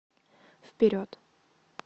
вперед